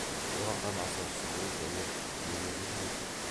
бурахан аса сұлу және денелі жігіт еді